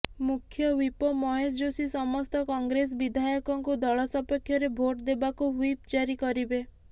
ମୁଖ୍ୟ ହ୍ୱିପ ମହେଶ ଯୋଶୀ ସମସ୍ତ କଂଗ୍ରେସ ବିଧାୟକଙ୍କୁ ଦଳ ସପକ୍ଷରେ ଭୋଟ୍ ଦେବାକୁ ହ୍ୱିପ୍ ଜାରି କରିବେ